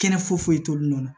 Kɛnɛ foyi foyi t'olu nɔ la